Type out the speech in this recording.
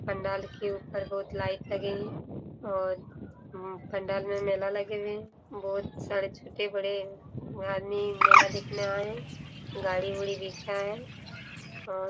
पंडाल के ऊपर बहुत लाइट लगे हैं और पंडाल में मेला लगे हुए हैं बहुत सारे छोटे बड़े यहाँ आदमी मेला देखने आए हैं गाड़ी उड़ी दिखा रहा और --